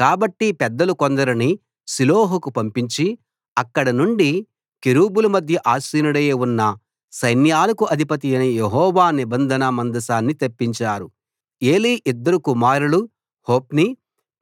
కాబట్టి పెద్దలు కొందరిని షిలోహుకు పంపించి అక్కడనుండి కెరూబుల మధ్య ఆసీనుడై ఉన్న సైన్యాలకు అధిపతి యెహోవా నిబంధన మందసాన్ని తెప్పించారు ఏలీ ఇద్దరు కుమారులు హొఫ్నీ